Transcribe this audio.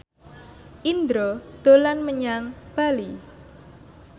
Indro dolan menyang Bali